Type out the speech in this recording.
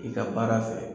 I ka baara fɛ